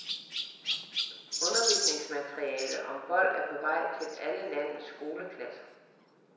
Undervisningsmateriale om vold er på vej til alle landets skoleklasser.